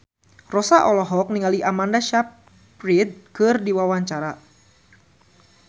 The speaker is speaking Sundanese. Rossa olohok ningali Amanda Sayfried keur diwawancara